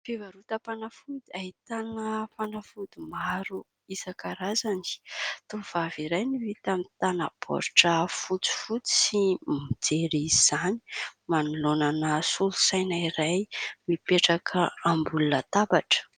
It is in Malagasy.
Fivarotam-panafody ahitana fanafody maro isankarazany. Tovovavy iray no hita mitana baoritra fotsifotsy mijery izany manoloana solosaina iray mipetraka ambony latabatra.